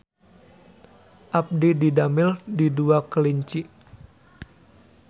Abdi didamel di Dua Kelinci